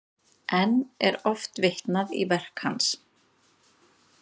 Enn er oft vitnað í verk hans.